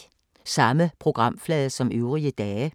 Samme programflade som øvrige dage